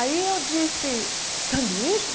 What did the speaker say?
Aí eu disse, sanduíche?